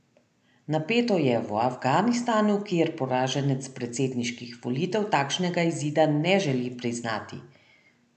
Napeto je v Afganistanu, kjer poraženec predsedniških volitev takšnega izida ne želi priznati.